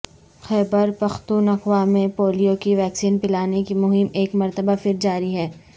خیبر پختونخوا میں پولیو کی ویکسین پلانے کی مہم ایک مرتبہ پھر جاری ہے